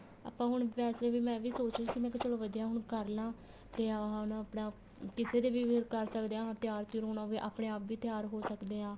ਆਪਾਂ ਹੁਣ ਵੈਸੇ ਵੀ ਮੈਂ ਵੀ ਸੋਚ ਰਹੀ ਸੀ ਮੈਂ ਕਿਹਾ ਚਲੋਂ ਵਧੀਆ ਏ ਹੁਣ ਕਰਲਾ ਤੇ ਆ ਹੁਣ ਆਪਣਾ ਕਿਸੇ ਦੇ ਕਰ ਸਕਦੇ ਹਾਂ ਤਿਆਰ ਤਿਉਰ ਹੋਣਾ ਹੋਵੇ ਆਪਣੇ ਆਪ ਵੀ ਤਿਆਰ ਹੋ ਸਕਦੇ ਹਾਂ